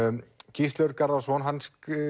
Gísli Örn Garðarsson hann